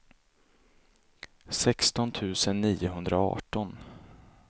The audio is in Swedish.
sexton tusen niohundraarton